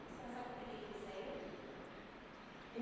Você sabe por que ele saiu?